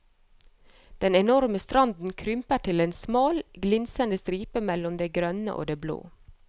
Den enorme stranden krymper til en smal glinsende stripe mellom det grønne og det blå.